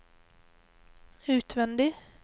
utvendig